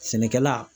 Sɛnɛkɛla